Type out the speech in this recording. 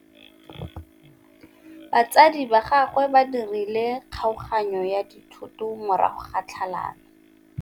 Batsadi ba gagwe ba dirile kgaoganyô ya dithoto morago ga tlhalanô.